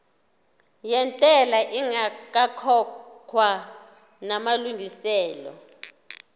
yentela ingakakhokhwa namalungiselo